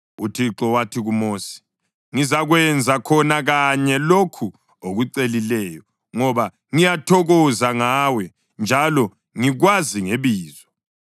UThixo wathi kuMosi, “Ngizakwenza khona kanye lokhu okucelileyo ngoba ngiyathokoza ngawe, njalo ngikwazi ngebizo.”